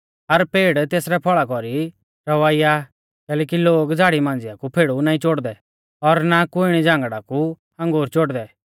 हर पेड़ तेसरै फल़ा कौरी रवाइया आ कैलैकि लोग झ़ाड़ी मांझ़िया कु फेड़ु नाईं चोड़दै और ना कुईणी झांगड़ा कु अंगूर चोड़दै